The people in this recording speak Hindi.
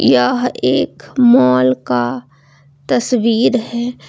यह एक मॉल का तस्वीर है।